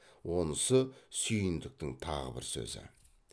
онысы сүйіндіктің тағы бір сөзі